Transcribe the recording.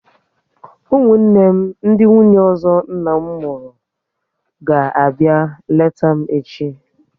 Ụmụnne m ndị nwunye ọzọ nna m mụrụ ga abịa leta m echi